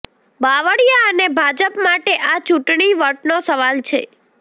બાવળિયા અને ભાજપ માટે આ ચૂંટણી વટનો સવાલ છે